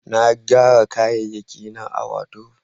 na gyara kayayyaki na a wadrob